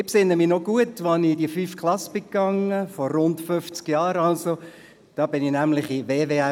Ich kann mich gut daran erinnern, wie ich vor rund 50 Jahren in die fünfte Klasse ging.